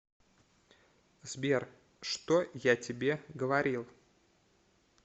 сбер что я тебе говорил